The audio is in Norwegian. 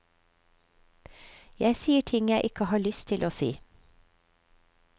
Jeg sier ting jeg ikke har lyst til å si.